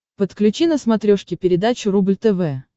подключи на смотрешке передачу рубль тв